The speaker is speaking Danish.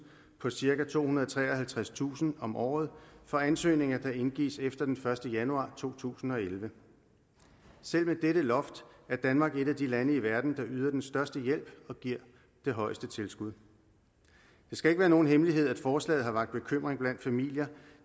på cirka tohundrede og treoghalvtredstusind kroner om året for ansøgninger der indgives efter den første januar to tusind og elleve selv med dette loft er danmark et af de lande i verden der yder den største hjælp og giver det højeste tilskud det skal ikke være nogen hemmelighed at forslaget har vakt bekymring blandt familier